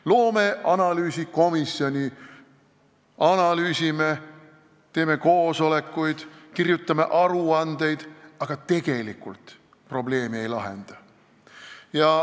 Loome analüüsikomisjoni, analüüsime, teeme koosolekuid, kirjutame aruandeid, aga tegelikult probleemi ei lahenda.